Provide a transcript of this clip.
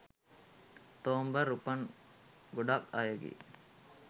ඔක්තෝම්බර් උපන් ගොඩක් අයගේ